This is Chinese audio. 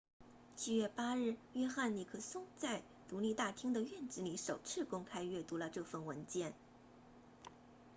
7月8日约翰尼克松 john nixon 在独立大厅的院子里首次公开宣读了这份文件